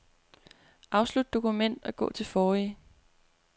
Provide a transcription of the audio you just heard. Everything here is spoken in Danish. Afslut dokument og gå til forrige.